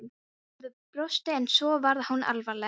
Gerður brosti en svo varð hún alvarleg.